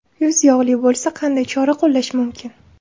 Yuz yog‘li bo‘lsa qanday chora qo‘llash mumkin?.